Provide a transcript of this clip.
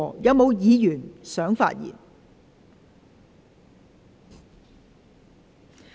是否有議員想發言？